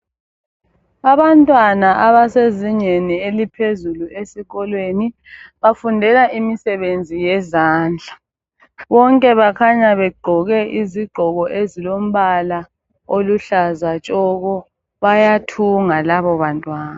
Abantwana abasezingeni eliphezulu esikolweni bafundela imisebenzi yezandla. Bonke bakhanya begqoke izigqoko ezilombala oluhlaza tshoko bayathunga labobantwana.